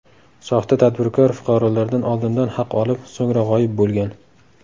Soxta tadbirkor fuqarolardan oldindan haq olib, so‘ngra g‘oyib bo‘lgan.